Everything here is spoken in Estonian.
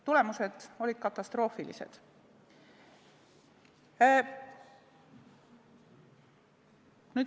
Tagajärjed olid katastroofilised.